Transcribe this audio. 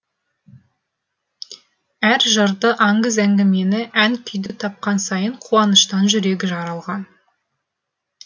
әр жырды аңыз әңгімені ән күйді тапқан сайын қуаныштан жүрегі жарылған